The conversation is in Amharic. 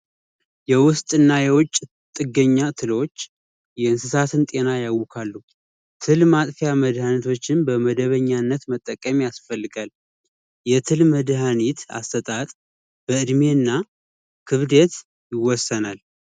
የውስጥና የውጭ ጥገኛዎች የእንስሳትን ጤና ያውቃሉ ትልማ መድሃኒቶችን በመደበኛነት መጠቀም ያስፈልጋል መድሃኒት አሰጣጥ በዕድሜና ክብደት ይወሰናል